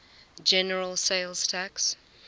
general sales tax